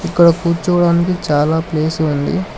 ఇక్కడ కూర్చోవడానికి చాలా ప్లేస్ ఉంది.